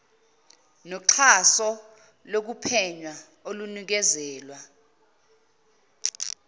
noxhaso lokuphenya olunikezelwa